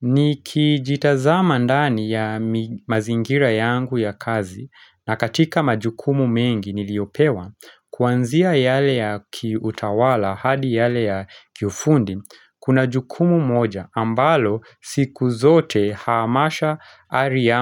Nikijitazama ndani ya mazingira yangu ya kazi na katika majukumu mengi niliopewa, kuanzia yale ya kiutawala hadi yale ya kifundi, kuna jukumu moja ambalo siku zote haamasha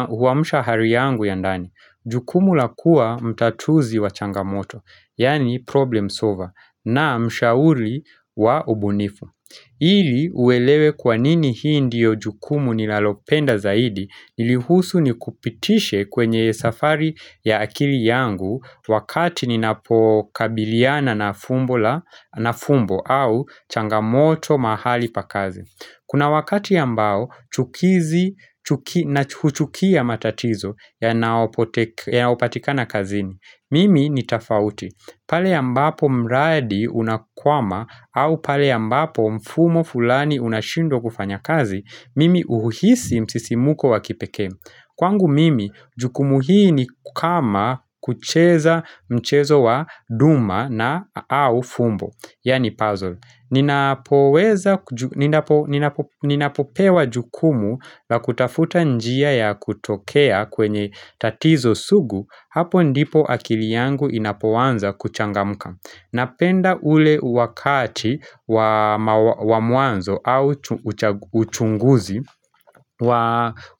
huamsha hari yangu ya ndani. Jukumu la kuwa mtatuzi wa changamoto, yani problem solver, na mshauri wa ubunifu. Ili uelewe kwa nini hii ndiyo jukumu nilalopenda zaidi nilihusu ni kupitishe kwenye safari ya akili yangu wakati ninapokabiliana na fumbo au changamoto mahali pa kazi. Kuna wakati ambao chukizi na huchukia matatizo yanaopatikana kazini. Mimi ni tofauti. Pale ambapo mraadi unakwama au pale ambapo mfumo fulani unashindwa kufanya kazi, mimi uhuhisi msisimuko wa kipeke. Kwangu mimi, jukumu hii ni kama kucheza mchezo wa duma na au fumbo, yani puzzle. Ninapopewa jukumu la kutafuta njia ya kutokea kwenye tatizo sugu, hapo ndipo akili yangu inapoanza kuchangamka. Napenda ule wakati wa muanzo au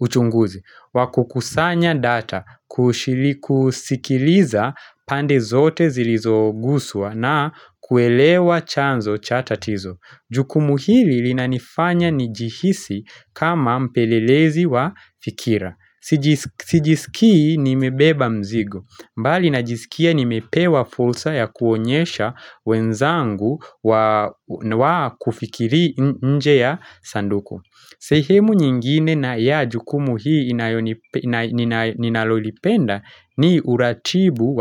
uchunguzi wa kukusanya data kushiliku sikiliza pande zote zilizogusua na kuelewa chanzo chatatizo Juku muhili lina nifanya njihisi kama mpelelezi wa fikira Sijiskii nimebeba mzigo mbali najisikia nimepewa fursa ya kuonyesha wenzangu wa kufikiri nje ya sanduku sehemu nyingine na ya jukumu hii ninalolipenda ni uratibu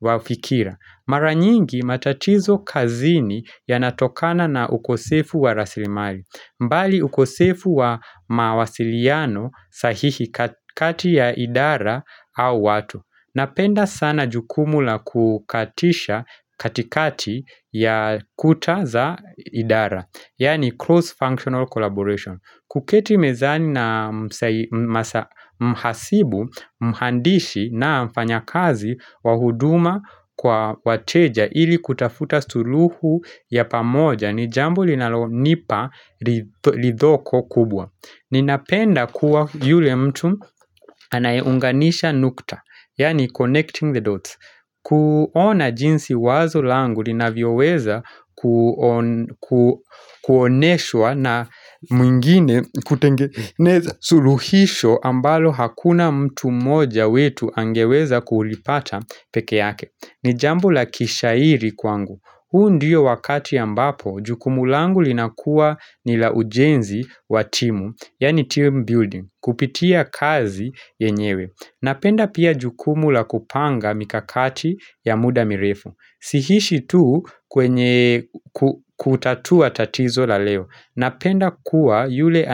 wa fikira Mara nyingi matatizo kazini ya natokana na ukosefu wa rasilimali mbali ukosefu wa mawasiliano sahihi kati ya idara au watu Napenda sana jukumu la kukatisha katikati ya kuta za idara Yaani cross functional collaboration kuketi mezani na mhasibu mhandishi na mfanya kazi wahuduma kwa wateja Ili kutafuta suluhu ya pamoja ni jambu linalo nipa lidhoko kubwa Ninapenda kuwa yule mtu anaeunganisha nukta Yani connecting the dots kuona jinsi wazo langu lina vioweza kuoneshwa na mwingine kutengeneza suluhisho ambalo hakuna mtu moja wetu angeweza kulipata peke yake ni jambu la kishairi kwangu, huu ndiyo wakati ya mbapo, jukumu langu linakua ni la ujenzi wa timu, yani team building, kupitia kazi yenyewe Napenda pia jukumu la kupanga mikakati ya muda mirefu, sihishi tu kwenye kutatua tatizo la leo Napenda kuwa yule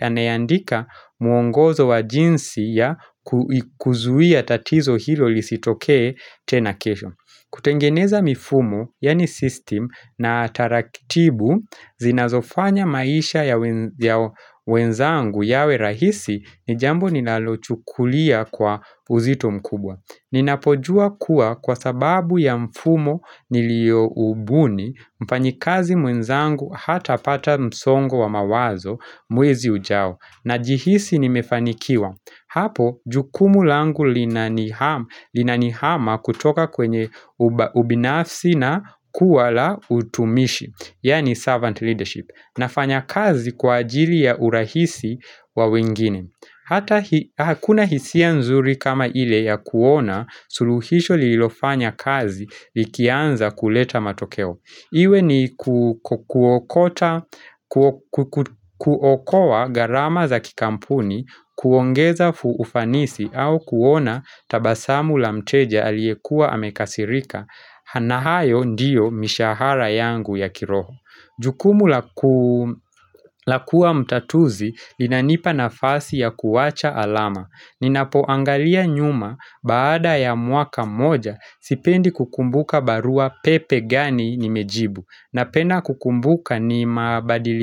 anayaandika muongozo wa jinsi ya kuzuia tatizo hilo lisitoke tena kesho kutengeneza mifumo yaani system na tarakitibu zinazofanya maisha ya wenzangu yawe rahisi ni jambo nilalochukulia kwa uzito mkubwa Ninapojua kuwa kwa sababu ya mfumo nilioubuni mfanyikazi mwenzangu hata pata msongo wa mawazo mwezi ujao Najihisi nimefanikiwa Hapo, jukumu langu linanihama kutoka kwenye ubinafsi na kuwa la utumishi Yaani servant leadership Nafanya kazi kwa ajili ya urahisi wa wengine Hata hakuna hisia nzuri kama ile ya kuona suluhisho lilofanya kazi likianza kuleta matokeo. Iwe ni kuokota, kuokowa gharama za kikampuni, kuongeza ufanisi au kuona tabasamu la mteja aliyekua amekasirika, na hayo ndiyo mishahara yangu ya kiroho. Jukumu la kuwa mtatuzi linanipa nafasi ya kuwacha alama. Ninapoangalia nyuma baada ya mwaka moja sipendi kukumbuka barua pepe gani nimejibu napenda kukumbuka ni mabadiliko.